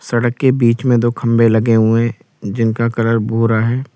सड़क के बीच में दो खंबे लगे हुए जिनका कलर भूरा है।